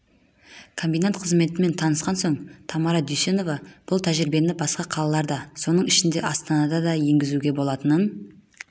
комбинат қызметімен танысқан соң тамара дүйсенова бұл тәжірибені басқа қалаларда соның ішінде астанада да енгізуге болатынын